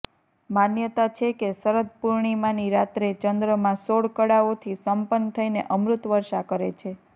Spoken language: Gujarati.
માન્યતા છે કે શરદપૂર્ણિમાની રાત્રે ચંદ્રમાં સોળ કળાઓથી સંપન્ન થઈને અમૃત વર્ષા કરે છે